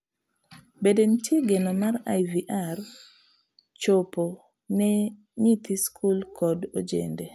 bende nitie geno mar IVR chopo ne nyithi skul kod ojende?